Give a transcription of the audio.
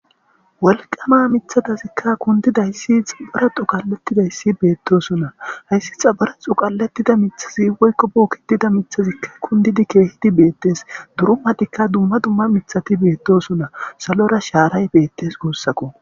Welqama mithadazikka kundidayssi xabara xo qallettidayssi beettoosunna hayssi xabara xo qalettida mithazi woykko bookitida mithazikka kundidi keehidi beettes durumatikka dumma dumma mithati beettosuna salora shaaray beettes guussako.